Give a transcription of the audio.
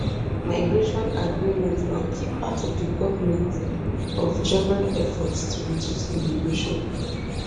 migration agreement na key part of di goment of germany efforts to reduce immigration